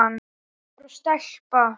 Strákur og stelpa.